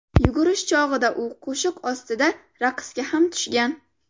Yugurish chog‘ida u qo‘shiq ostida raqsga ham tushgan.